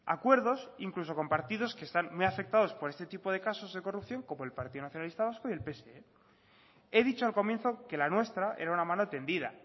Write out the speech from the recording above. acuerdos incluso compartidos que están muy afectados por este tipo de casos de corrupción como el partido nacionalista vasco y el pse he dicho al comienzo que la nuestra era una mano tendida